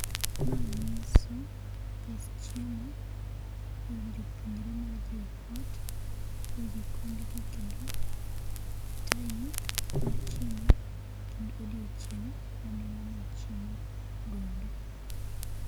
Ma nyiso pes chiemo e od jopuonjre mar JKUAT e jikondgi kendo time mar chiemo kendo odiochieng mane ng'ano ochiemo godo